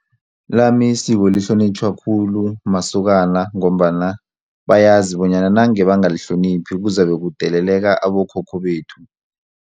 Lami isiko lihlonitjhwa khulu masokana ngombana bayazi bonyana nange bangalihloniphi kuzabe kudeleleka abokhokho bethu.